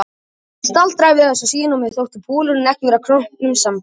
Ég staldraði við þessa sýn og mér þótti bolurinn ekki vera kroppnum samboðinn.